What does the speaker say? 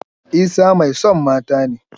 Isah mai son mata ne.